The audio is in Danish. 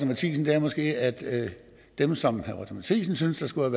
matthisen er måske at dem som herre roger courage matthisen synes skulle